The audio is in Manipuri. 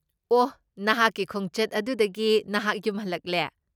ꯑꯣꯍ, ꯅꯍꯥꯛꯀꯤ ꯈꯣꯡꯆꯠ ꯑꯗꯨꯗꯒꯤ ꯅꯍꯥꯛ ꯌꯨꯝ ꯍꯜꯂꯛꯑꯦ?